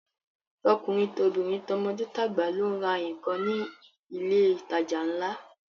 Tọkùnrin tobìnrin, tọmọdé tàgbà ló ń ra nǹkan ní ilé ìtajà ńlá